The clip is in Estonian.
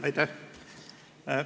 Aitäh!